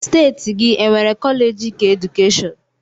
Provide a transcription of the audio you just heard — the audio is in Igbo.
Steeti gị e nwere kọleeji keedukeshọn?